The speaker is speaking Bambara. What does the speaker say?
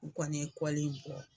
U kɔni bɔ.